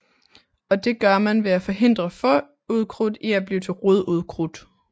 Og det gør man ved at forhindre frøukrudt i at blive til rodukrudt